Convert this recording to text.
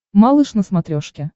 малыш на смотрешке